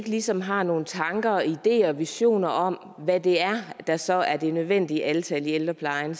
ligesom har nogen tanker ideer og visioner om hvad det er der så er det nødvendige antal i ældreplejen